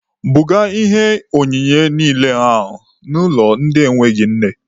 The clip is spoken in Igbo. Buga ihe onyinye niile ahụ n'ụlọ ndị enweghị nne!.